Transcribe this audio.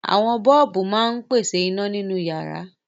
Àwọn bọ́ọ́bù máa ń pèsè iná nínú ìyàrá.